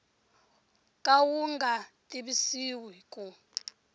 ka wu nga tivisiwi ku